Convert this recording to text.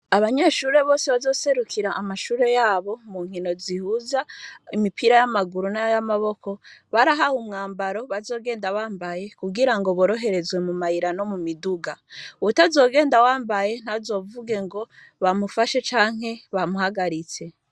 Abanyeshure bose bazoserukira amashure yabo mu nkino zihuza imipira y'amaguru n'y'amaboko barahahe umwambaro bazogenda bambaye kugira ngo boroherezwe mu mayira no mu miduga uwutazogenda wambaye ntazovuge ngo bamufashe canke bamuhagaritse.